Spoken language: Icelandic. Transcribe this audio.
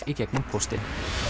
í gegnum póstinn